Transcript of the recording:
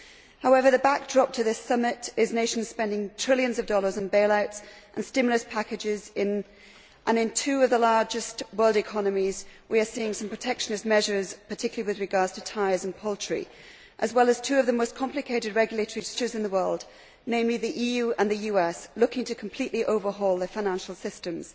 However, the backdrop to this summit is nations spending trillions of dollars on bailouts and stimulus packages and in two of the largest world economies we are seeing some protectionist measures, particularly with regard to tyres and poultry, as well as two of the most complicated regulatory structures in the world, namely the EU and the US, looking to completely overhaul their financial systems.